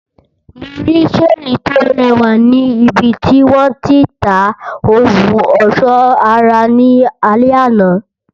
Mo rí seeni to rẹwà ni ibiti wọn ti ń ta ohun ọsọ ara ní alẹ àná.